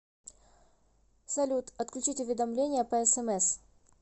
салют отключить уведомления по смс